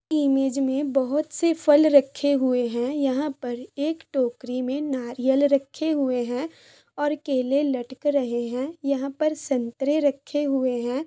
Image में बहुत से फल रखे हुए है यहाँ पर एक टोकरी में नारियल रखे हुए है और केले लटक रहे है यहाँ पर संतरे रखे हुए है।